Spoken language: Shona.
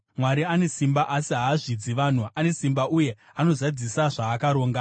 “Mwari ane simba asi haazvidzi vanhu; ane simba, uye anozadzisa zvaakaronga.